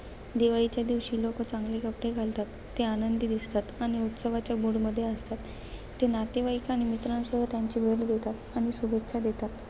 दिवाळीच्या दिवशी, लोक चांगले कपडे घालतात, ते आनंदी दिसतात आणि उत्सवाच्या mood मध्ये असतात. ते नातेवाईक आणि मित्रांसह त्यांची भेट घेतात आणि शुभेच्छा देतात.